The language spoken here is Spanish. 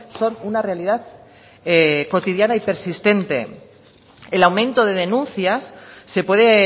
son una realidad cotidiana y persistente el aumento de denuncias se puede